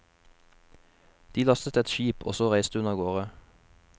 De lastet et skip, og så reiste hun av gårde.